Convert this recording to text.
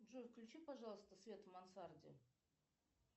джой включи пожалуйста свет в мансарде